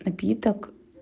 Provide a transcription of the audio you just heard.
напиток